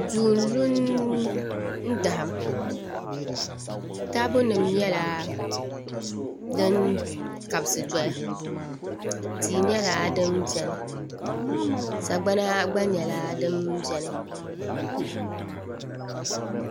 Duu n lu n daham taabo nim nyɛla din kabisi doya tia nyɛla din biɛni sagbana gba nyɛla din biɛni